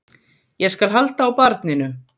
Ég skal halda á barninu.